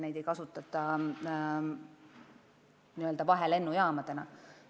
Neid lennujaamu ei kasutata vahelennujaamadena.